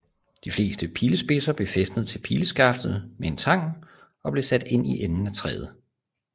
De fleste pilespidser blev fæstnet til pileskaftet med en tang og blev sat ind i enden af træet